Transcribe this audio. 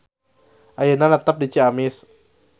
Ayeuna netep di Ciamis.